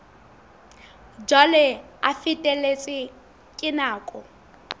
jwalo a feletswe ke nako